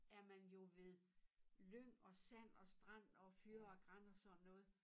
Er man jo ved lyng og sand og strand og fyr og gran så sådan noget